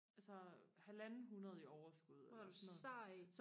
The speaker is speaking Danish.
altså halvanden hundrede i overskud eller sådan noget